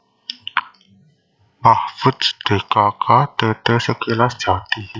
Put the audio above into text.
Mahfudz dkk t t Sekilas Jati